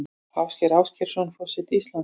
Ásgeir Ásgeirsson forseti Íslands